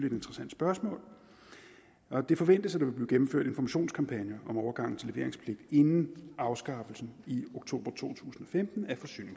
et interessant spørgsmål det forventes at der vil blive gennemført informationskampagner om overgangen til leveringspligt inden afskaffelsen af i oktober to tusind og femten